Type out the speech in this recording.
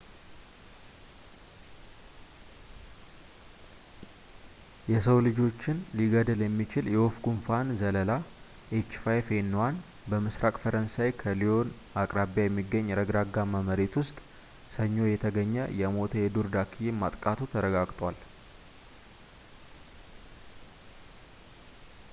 የሰው ልጆችን ሊገድል የሚችል የወፍ ጉንፋን ዘለላ፣ ኤች5ኤን1፣ በምስራቅ ፈረንሳይ ከሊዮን አቅራቢያ የሚገኝ ረግረጋማ መሬት ውስጥ፣ ሰኞ የተገኘ የሞተ የዱር ዳክዬን ማጥቃቱ ተረጋግጧል